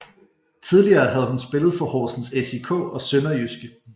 Tidligere havde hun spillet for Horsens SIK og SønderjydskE